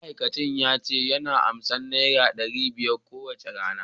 ma'aikacin yace yana ansan naira dari biyar kowacce rana